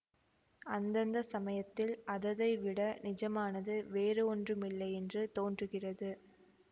அந்தந்த சமயத்தில் அததை விட நிஜமானது வேறு ஒன்றுமில்லையென்று தோன்றுகிறது